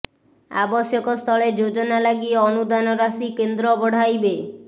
ଆବଶ୍ୟକ ସ୍ଥଳେ ଯୋଜନା ଲାଗି ଅନୁଦାନ ରାଶି କେନ୍ଦ୍ର ବଢ଼ାଇବେ